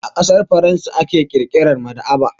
A ƙasar Faransa aka ƙirƙira maɗaba'a.